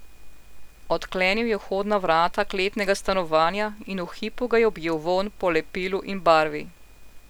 Odklenil je vhodna vrata kletnega stanovanja in v hipu ga je objel vonj po lepilu in barvi.